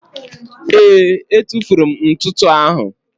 Ee, etufuru m ntụtụ áhụ̀.